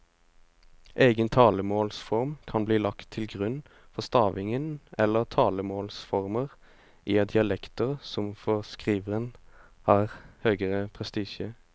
Egen talemålsform kan bli lagt til grunn for stavingen eller talemålsformer i dialekter som for skriveren har høgere prestisje.